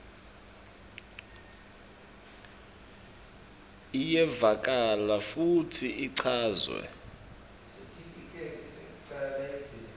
iyevakala futsi ichazwe